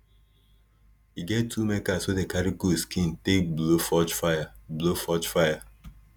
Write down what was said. e get tool makers wey dey carry goat skin take blow forge fire blow forge fire